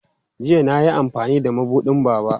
Jiya na yi amfani da mabuɗin Baba.